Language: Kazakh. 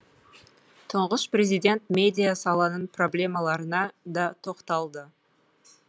тұңғыш президент медиа саланың проблемаларына да тоқталды